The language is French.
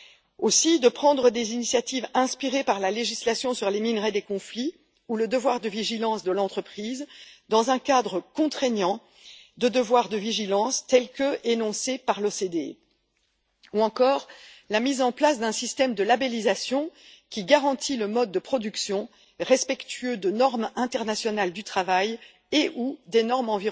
Il y a également la prise d'initiatives inspirées par la législation sur les minerais des conflits ou le devoir de vigilance de l'entreprise dans un cadre contraignant de devoir de vigilance tel qu'énoncé par l'OCDE, ou encore la mise en place d'un système de labellisation qui garantit un mode de production respectueux des normes internationales du travail et ou des normes